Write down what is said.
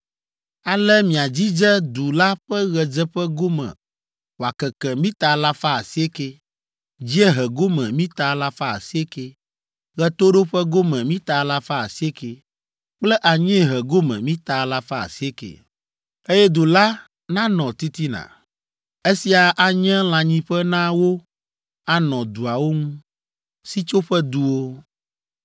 Ale miadzidze du la ƒe ɣedzeƒe gome wòakeke mita alafa asiekɛ, dziehe gome mita alafa asiekɛ, ɣetoɖoƒe gome mita alafa asiekɛ kple anyiehe gome mita alafa asiekɛ, eye du la nanɔ titina. Esia anye lãnyiƒe na wo anɔ duawo ŋu.